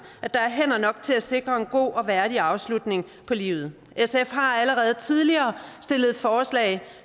at der er hænder nok til at sikre en god og værdig afslutning på livet sf har allerede tidligere stillet et forslag